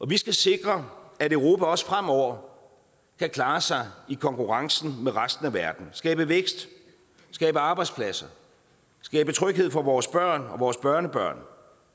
vi skal sikre at europa også fremover kan klare sig i konkurrencen med resten af verden skabe vækst skabe arbejdspladser skabe tryghed for vores børn og vores børnebørn